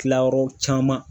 Kilayɔrɔ caman